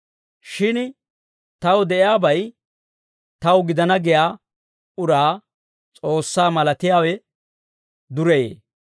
Shin taw de'iyaabay taw gidana giyaa uraa S'oossaa malatiyaawe dureyee.